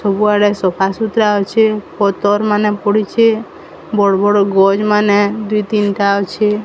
ସବୁଆଡ଼େ ସଫା ସୁତରା ଅଛେ ପତର୍ ମାନେ ପଡ଼ିଚେ ବଡ଼-ବଡ଼ ଗଛ୍ ମାନେ ଦୁଇ ତିନଟା ଅଛେ।